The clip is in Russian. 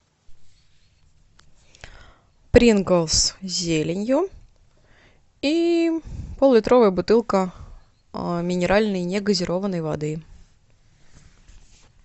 принглс с зеленью и пол литровая бутылка минеральной негазированной воды